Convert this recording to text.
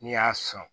N'i y'a sɔn